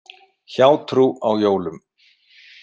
Hjátrú á jólum.